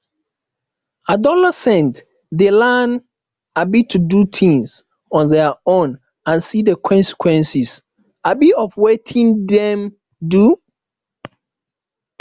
adolescent de learn um to do things on their own and see the consequence um of wetin them do